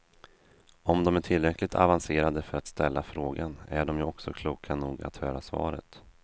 Om dom är tillräckligt avancerade för att ställa frågan, är dom ju också kloka nog att höra svaret.